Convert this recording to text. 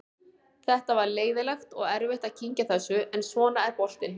Þetta var leiðinlegt og erfitt að kyngja þessu en svona er boltinn.